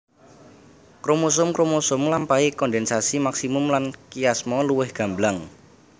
Kromosom kromosom ngelampahi kondensasi maksimum lan kiasma luwih gamblang